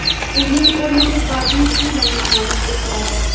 Uning o‘rniga badiiy film namoyish etiladi.